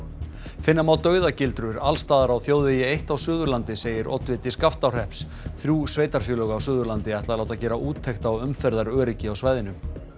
finna má dauðagildrur alls staðar á þjóðvegi eitt á Suðurlandi segir oddviti Skaftárhrepps þrjú sveitarfélög á Suðurlandi ætla að láta gera úttekt á umferðaröryggi á svæðinu